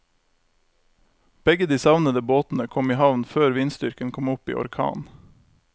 Begge de savnede båtene kom i havn før vindstyrken kom opp i orkan.